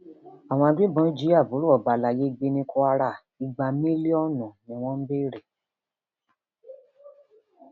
um àwọn agbébọn jí àbúrò ọba alayé gbé ní kwara igba mílíọnù um ni wọn ń béèrè